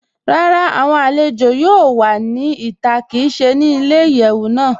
Rárá, awọn alẹ̀jọ yóò wà ní ìtà kí í ṣè ní ìyẹwu náà.